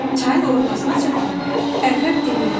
Çayın ortasına çatanda əqrəb dilləndi.